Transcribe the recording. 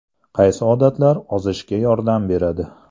Qaysi odatlar ozishga yordam beradi?